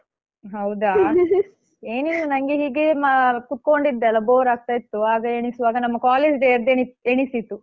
ಹೌದಾ ಏನಿಲ್ಲ ನಂಗೆ ಹೀಗೆ ಮ~ ಕೂತ್ಕೊಂಡಿದ್ದಲ್ಲಾ bore ಆಗ್ತಾ ಇತ್ತು ಆಗ ಎಣಿಸುವಾಗ ನಮ್ಮ college day ಯದ್ದು ಎಣಿಸ್~ ಎಣಿಸಿತು.